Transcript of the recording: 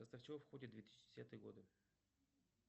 в состав чего входят две тысячи десятые годы